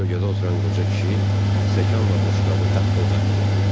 Kölgədə oturan qoca kişi stəkanla boşqabı taqqıldatdı.